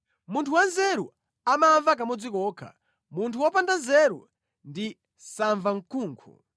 Munthu wanzeru amamva kamodzi kokha, munthu wopanda nzeru ndi samvamkunkhu.